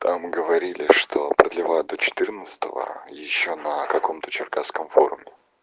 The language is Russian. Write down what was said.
там говорили что продлевают до четырнадцатого ещё на каком-то черкасском форуме